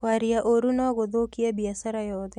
Kwaria ũũru no gũthũkie biacara yothe.